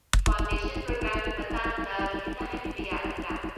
Foundation ꯄ꯭ꯔꯣꯒ꯭ꯔꯥꯝꯒꯤ ꯃꯇꯥꯡꯗ ꯈꯤꯇ ꯍꯥꯏꯕꯤꯕ ꯌꯥꯒꯗ꯭ꯔꯥ?